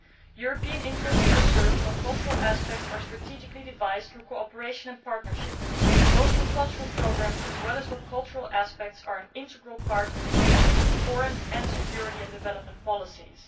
European interests are served when cultural aspects are strategically devised through cooperation and partnership, both through cultural programmes and when cultural aspects form an integral part of economic, foreign and security and development policies.